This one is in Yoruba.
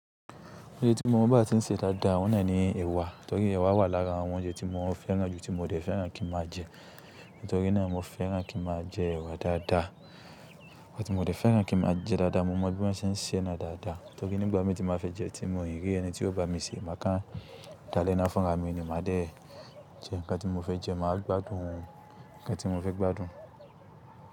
Oúnjẹ tí mo mọ̀ bá tí ń se dáadáa, óun ná ní èwà. Nítorí èwà wà lára àwọn oúnjẹ tí mo fẹ́ràn jù tí mo dẹ̀ fẹ́ràn kí n má a jẹ. Nítorí náà mo fẹ́ràn kí n má a jẹ èwà dáadáa. Ọ̀un tí mo dẹ̀ fẹ́ràn kí n má a jẹ dáadáa, mo mọ̀ bí wọ́n ṣe ń se náà dáadáa. Nítorí nígbà mi tí n bá fẹ́ jẹun tí mi o rí ẹni tí ó bá mi sè é, màá kán dá lẹ́ná fún ra mi ni má dẹ̀ jẹ. Ǹká tí mo fẹ́ jẹ, màá gbádùn òun ńká tí mo fẹ́ gbádùn.